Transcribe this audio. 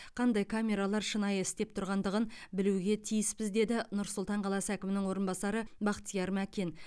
қандай камералар шынайы істеп тұрғандығын білуге тиіспіз деді нұр сұлтан қаласы әкімінің орынбасары бақтияр мәкен